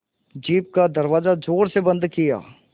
jeep का दरवाज़ा ज़ोर से बंद किया